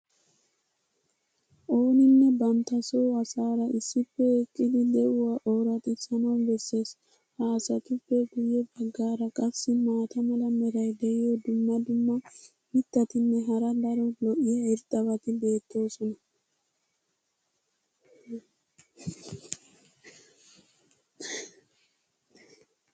Ooninne bantta soo asaara issippe eqqidi de'uwaa ooraxxisanawu besees. ha asatuppe guye bagaara qassi maata mala meray diyo dumma dumma mitatinne hara daro lo'iya irxxabati beetoosona.